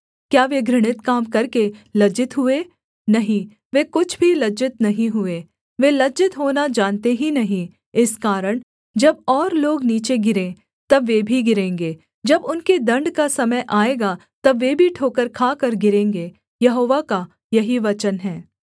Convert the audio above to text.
क्या वे घृणित काम करके लज्जित हुए नहीं वे कुछ भी लज्जित नहीं हुए वे लज्जित होना जानते ही नहीं इस कारण जब और लोग नीचे गिरें तब वे भी गिरेंगे जब उनके दण्ड का समय आएगा तब वे भी ठोकर खाकर गिरेंगे यहोवा का यही वचन है